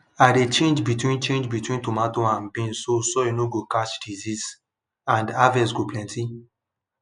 i dey change between change between tomato and beans so soil nor go catch disease and harvest go plenty